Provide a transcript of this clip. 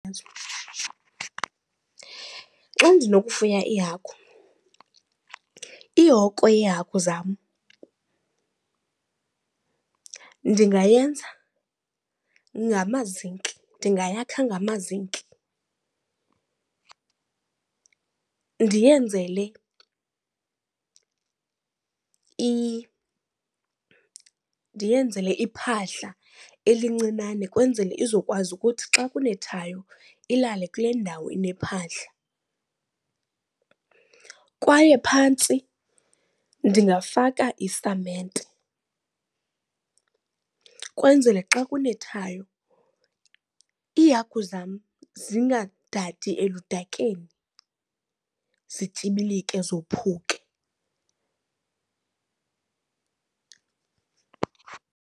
Xa ndinokufuya iihagu ihoko yeehagu zam ndingayenza ngamazinki, ndingayakha ngamazinki. Ndiyenzele ndiyenzele iphahla elincinane kwenzele izokwazi ukuthi xa kunethayo ilale kule ndawo inephahla. Kwaye phantsi ndingafaka isamente kwenzele xa kunethayo iihagu zam zingadadi eludakeni zityibilike zophuke.